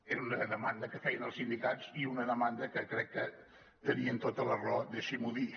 era una demanda que feien els sindicats i una demanda que crec que tenien tota la raó deixi m’ho dir